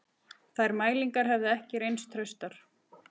Þær mælingar hefðu ekki reynst traustar